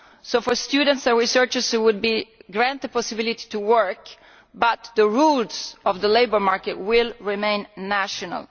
So students and researchers would be granted the possibility to work but the rules of the labour market will remain national.